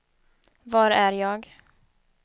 var är jag